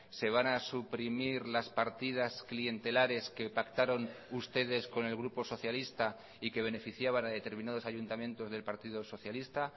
se van a suprimir las partidas clientelares que pactaron ustedes con el grupo socialista y que beneficiaban a determinados ayuntamientos del partido socialista